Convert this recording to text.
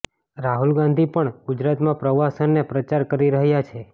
રાહુલ ગાંધી પણ ગુજરાતમાં પ્રવાસ અને પ્રચાર કરી રહયા છે